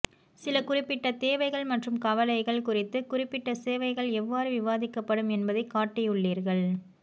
சில குறிப்பிட்ட தேவைகள் மற்றும் கவலைகள் குறித்து குறிப்பிட்ட சேவைகள் எவ்வாறு விவாதிக்கப்படும் என்பதைக் காட்டியுள்ளீர்கள்